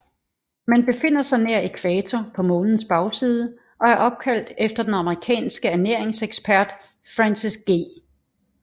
Det befinder sig nær ækvator på Månens bagside og er opkaldt efter den amerikanske ernæringsekspert Francis G